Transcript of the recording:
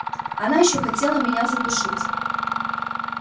она ещё хотела меня задушить